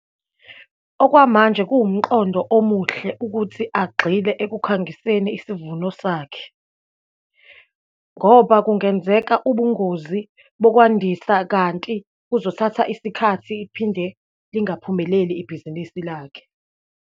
Okwamanje kuwumqondo omuhle ukuthi agxile ekukhangiseni isivuno sakhe, ngoba kungenzeka ubungozi bokwandisa, kanti kuzothatha isikhathi, iphinde lingaphumeleli ibhizinisi lakhe.